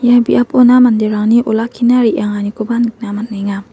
ia biapona manderangni olakkina re·anganikoba nikna man·enga.